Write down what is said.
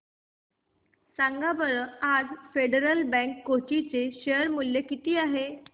सांगा बरं आज फेडरल बँक कोची चे शेअर चे मूल्य किती आहे